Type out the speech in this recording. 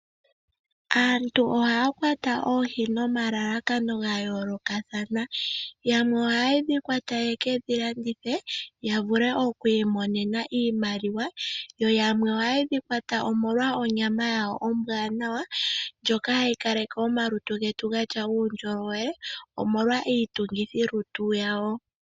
Aantu ohaya kwata oohi nomalalakano gayoolokathana, yamwe ohayedhi kwata yekedhi landithe yavule okwiimonena iimaliwa yo yamwo ohayedhi kwata omolwa onyamo yayo ombwanawa ndyoka hayi kalake omalutu gatya uundjolo wele omolwa iitungithi lutu yawo.